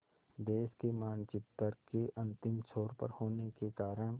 देश के मानचित्र के अंतिम छोर पर होने के कारण